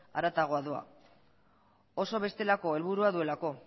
harago doa oso bestelako helburua duelako